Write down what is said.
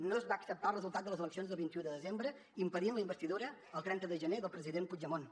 no es va acceptar el resultat de les eleccions del vint un de desembre impedint la investidura el trenta de gener del president puigdemont